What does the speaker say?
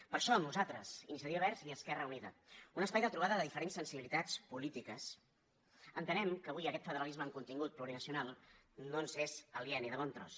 per això nosaltres iniciativa verds i esquerra unida un espai de trobada de diferents sensibilitats polítiques entenem que avui aquest federalisme amb contingut plurinacional no ens és aliè ni de bon tros